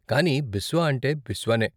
కానీ బిస్వా అంటే బిస్వా నే.